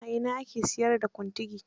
A ina ake siyar da Kuntigi?